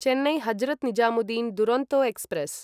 Chennai Hazrat Nizamuddin Duronto express